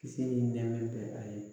Kisi ni nɛɛma bɛ a ye